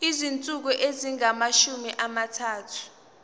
izinsuku ezingamashumi amathathu